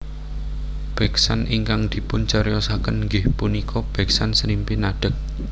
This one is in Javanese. Beksan ingkang dipun ceriosaken inggih punika beksan Srimpi Nadheg